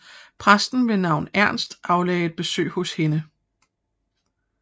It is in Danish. Præsten ved navn Ernst aflagde et besøg hos hende